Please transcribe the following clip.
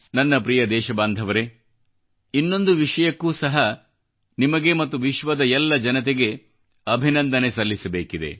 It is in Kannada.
ನನ್ನ ಪ್ರಿಯ ದೇಶಬಾಂಧವರೇ ಇನ್ನೊಂದು ವಿಷಯಕ್ಕೂ ಸಹ ನಿಮಗೆ ಮತ್ತು ವಿಶ್ವದ ಎಲ್ಲ ಜನತೆಗೆ ಕೃತಜ್ಞತೆ ಸಲ್ಲಿಸಬೇಕಿದೆ